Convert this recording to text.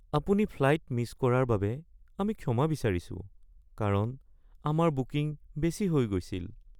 আপুনি flight miss কৰাৰ বাবে আমি ক্ষমা বিচাৰিছোঁ কাৰণ আমাৰ বুকিং বেছি হৈ গৈছিল